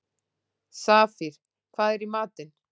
Safír, hvað er í matinn?